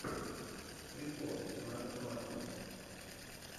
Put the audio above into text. прикол настя маслова